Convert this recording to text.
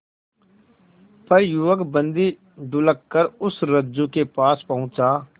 पर युवक बंदी ढुलककर उस रज्जु के पास पहुंचा